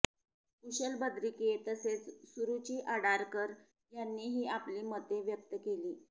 कुशल बद्रिके तसेच सुरुची आडारकर यांनीही आपली मते व्यक्त केली